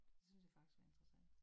Det synes jeg faktisk var interessant